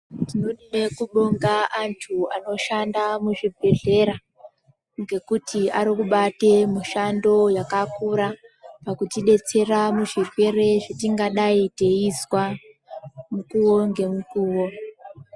Tinoda kubonga antu anoshanda muzvibhedhlera ngekuti Ari kubate mishando yakakura kuti detsera muzvirwere zvetingadai teizwa mukuwo ngemukuwo.